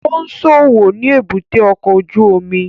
Ó ń ṣòwò ni èbúté ọkọ̀ ojú omi